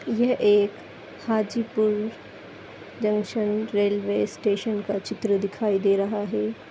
ये एक Hajipur junction railway station का चित्र दिखाई दे रहा है।